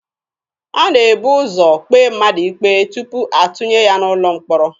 A na-ebu ụzọ kpee mmadụ ikpe tupu atụnye ya n'ụlọ mkpọrọ.